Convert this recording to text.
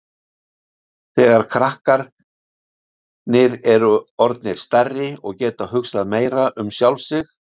Þegar krakkarnir eru orðnir stærri og geta hugsað meira um sig sjálf